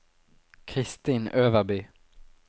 Kristin Øverby